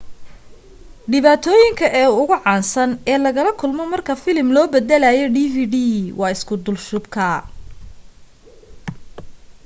dhibaatooyinka ugu caansan ee lala kulmo marka filim loo baddalayo dvd waa isku dulshubka